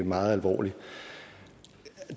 meget alvorlig